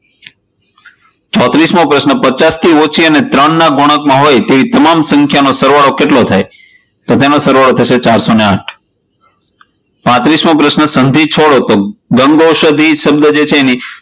ચોત્રીસમો પ્રશ્ન પચાસથી ઓછી અને ત્રણ ના ગુનકમાં હોય તેવી તમામ સંખ્યાનો સરવાળો કેટલો થાય? તો તેનો સરવાળો થશે ચારસો આઠ પાંત્રીસ મો પ્રશ્ન સંધીછોડો ગન્ગૌશાધી જે શબ્દ છે એને